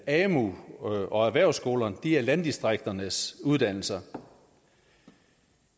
amu og erhvervsskolerne er landdistrikternes uddannelser